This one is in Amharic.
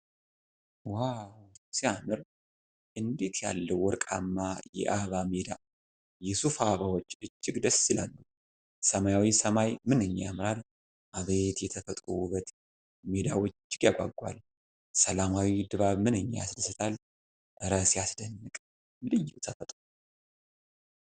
ዋው ሲያምር! እንዴት ያለ ወርቃማ የአበባ ሜዳ! የሱፍ አበባዎቹ እጅግ ደስ ይላሉ። ሰማያዊ ሰማይ ምንኛ ያምራል! አቤት የተፈጥሮ ውበት! ሜዳው እጅግ ያጓጓል። ሰላማዊ ድባብ ምንኛ ያስደስታል። እረ ሲያስደንቅ! ልዩ ተፈጥሮ!